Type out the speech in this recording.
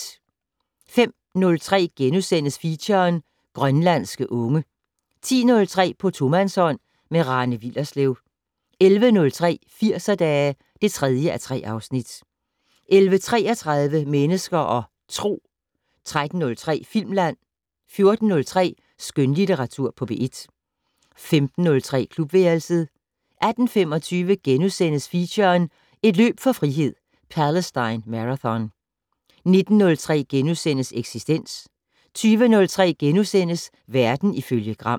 05:03: Feature: Grønlandske unge * 10:03: På tomandshånd med Rane Willerslev 11:03: Firserdage (3:3) 11:33: Mennesker og Tro 13:03: Filmland 14:03: Skønlitteratur på P1 15:03: Klubværelset 18:25: Feature: Et løb for frihed - Palestine Marathon * 19:03: Eksistens * 20:03: Verden ifølge Gram *